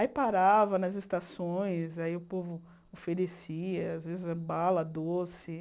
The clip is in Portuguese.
Aí parava nas estações, aí o povo oferecia, às vezes, bala doce.